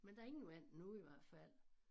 Men der ingen vand nu i hvert fald